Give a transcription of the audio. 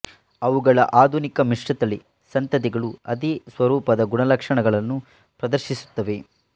ಅವುಗಳ ಆಧುನಿಕ ಮಿಶ್ರತಳಿ ಸಂತತಿಗಳು ಅದೇ ಸ್ವರೂಪದ ಗುಣಲಕ್ಷಣಗಳನ್ನು ಪ್ರದರ್ಶಿಸುತ್ತವೆ